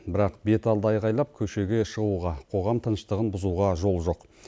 бірақ беталды айқайлап көшеге шығуға қоғам тыныштығын бұзуға жол жоқ